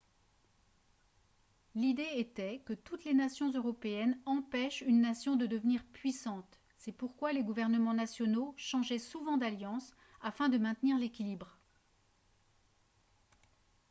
l'idée était que toutes les nations européennes empêchent une nation de devenir puissante c'est pourquoi les gouvernements nationaux changeaient souvent d'alliances afin de maintenir l'équilibre